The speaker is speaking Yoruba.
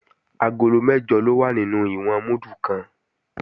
Agolo mẹ́jọ ló wà nínú ìwọ̀n múdù kan